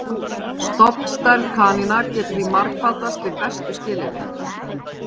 Stofnstærð kanína getur því margfaldast við bestu skilyrði.